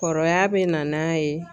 Kɔrɔya bɛ na n'a ye.